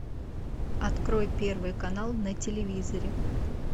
открой первый канал на телевизоре